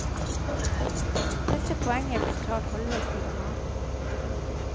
Dette poenget ble klart halvveis i romanen.